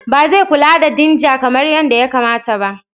Ba zai kula da dinger kamar yadda ya kamata.